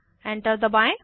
enter दबाएं